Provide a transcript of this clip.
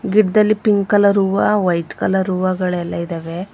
ಗಿಡದಲ್ಲಿ pink colour ಹುವಾ white colour ಹುವಾಗಳ ಎಲ್ಲಾ ಇದಾವೆ.